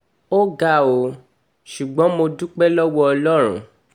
ó ga ọ́ ṣùgbọ́n mo dúpẹ́ lọ́wọ́ ọlọ́run